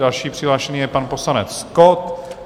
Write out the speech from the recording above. Dalším přihlášeným je pan poslanec Kott.